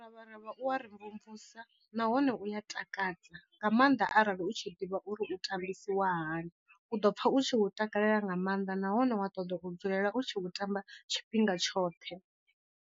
Muravharavha u wa ri mvumvusa nahone u ya takadza nga maanḓa arali u tshi ḓivha uri u tambisiwa hani, u ḓo pfha u tshi takalela nga maanḓa nahone wa ṱoḓa u dzulela u tshi khou tamba tshifhinga tshoṱhe.